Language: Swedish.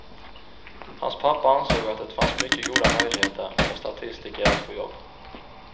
Hans pappa ansåg att det fanns mycket goda möjligheter för statistiker att få jobb.